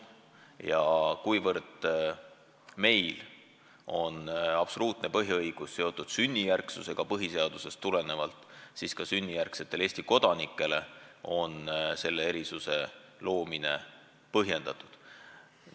Ja kuna meil on absoluutne põhiõigus kodakondsusele põhiseadusest tulenevalt seotud sünnijärgsusega, siis sünnijärgsetele Eesti kodanikele on selle erisuse loomine põhjendatud.